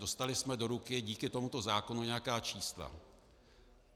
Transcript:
Dostali jsme do ruky díky tomuto zákonu nějaká čísla.